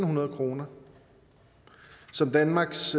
hundrede kroner som danmarks